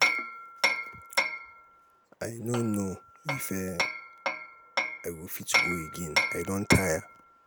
i no know if um i go fit go again i don tire.